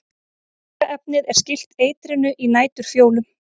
Virka efnið er skylt eitrinu í næturfjólum.